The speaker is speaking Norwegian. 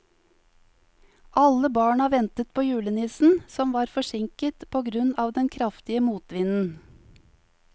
Alle barna ventet på julenissen, som var forsinket på grunn av den kraftige motvinden.